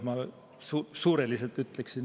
Ma ütleksin niimoodi suureliselt.